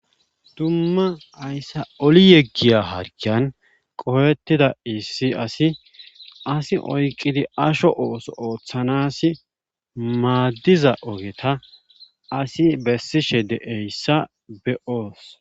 Dumma hayssa oli yeggiya harkiyan qohettida issi asi asi oyqidi asho ooso ooththanasi maaddiza ogeta asi bessishe deeyssa be'oos.